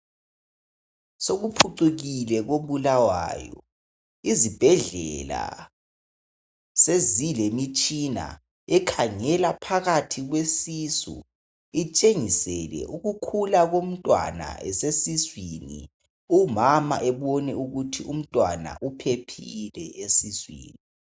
Sokuphucukile kobulawayo izibhedlela sezilemitshina ekhangela phakathi kwesisu itshengisele ukukhula komntwana esesuswini umama ebone ukuthi umntwana uphephile esuswini.